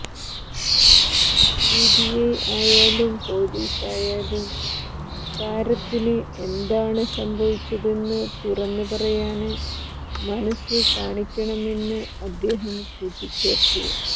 CBI ആയാലും പോലീസായാലും താരത്തിന് എന്താണ് സംഭവിച്ചതെന്ന് തുറന്നു പറയാന് മനസ് കാണിക്കണമെന്ന് അദ്ദേഹം കൂട്ടിച്ചേര്ത്തു